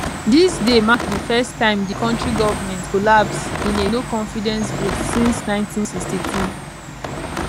dis dey mark di first time di kontri govment collapse in a noconfidence vote since 1962